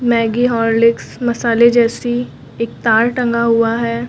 Maggi Horlicks मसाले जैसी एक तार टंगा हुआ है।